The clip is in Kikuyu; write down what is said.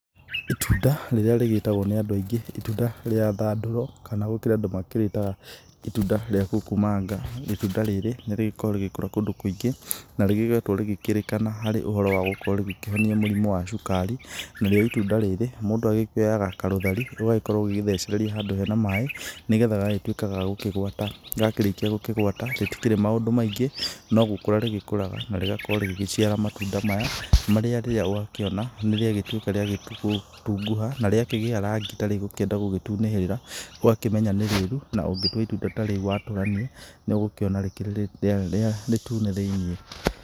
Itunda rĩrĩa rĩgĩtagwo nĩ andũ aingĩ itunda rĩa thandũro, kana gũkĩrĩ andũ marĩtaga itunda rĩa kukumanga . Itunda rĩrĩ nĩ rĩgĩkoragwo rĩgĩkũra kũndũ kũingĩ, na nĩrĩkoretwo rĩkĩrĩkana harĩ ũhoro wa gũkorwo rĩkĩhonia mũrimũ wa cukari. Narĩo itunda rĩrĩ mũndũ akĩoyaga karũthari, ũgagĩkorwo ũgĩgĩthecereria handũ hene maaĩ nĩgethe gagagĩtũĩka gagũkĩgwata. Gakĩrĩkĩa gũkĩgwata rĩtĩkĩrĩ maũndũ maingĩ no gũkũra rĩgĩkũraga na rĩgakorwo rĩgĩgĩciara matunda maya, marĩa rĩrĩa wakĩona nĩ rĩagĩtũĩka rĩa gũgĩtungũha, na rĩakĩgĩa rangĩ ta rĩgũkĩenda gũgĩtunĩhĩrĩra, ũgakĩmenya nĩ rĩrũ. Na ũngĩtũa itunda ta rĩrĩ watũranie, nĩ ũgũkĩona rĩkĩrĩ rĩtune thĩinĩ.